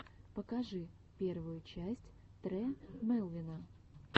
покажи первую часть тре мелвина